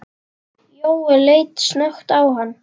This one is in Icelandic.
Jóel leit snöggt á hann.